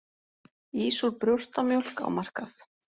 Ís úr brjóstamjólk á markað